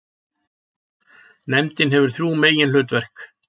Nefndin hefur þrjú meginhlutverk.